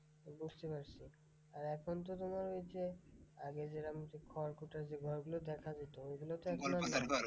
বুঝতে পারসি, আর এখন তো তোমার ঐ যে আগে যেরম খড়কুটর যে ঘরগুলো দেখা যেত ওগুলো তো এখন আর নেই।